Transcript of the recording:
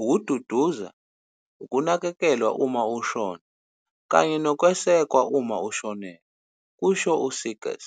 ukududuza, ukunakekelwa uma ushona kanye nokwesekwa uma ushonelwe," kusho u-Seegers.